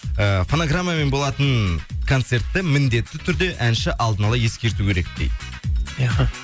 і фонограммамен болатын концертті міндетті түрде әнші алдын ала ескерту керек дейді